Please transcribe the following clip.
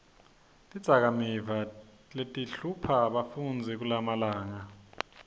tidzakamiva letihlupha bafundzi kulamalanga